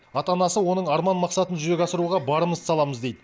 ата анасы оның арман мақсатын жүзеге асыруға барымызды саламыз дейді